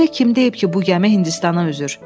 Axı sizə kim deyib ki, bu gəmi Hindistana üzür?